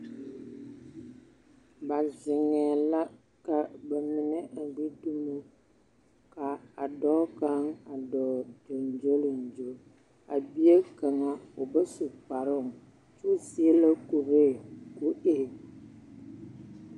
Ba zeŋɛɛ la ka ba mine gbi dumo ka d22 kaŋ a dɔɔ gyoŋgyoliŋgyo. A bie kaŋa o ba su kaparooŋ kyɛ o seɛla kuree ka o e…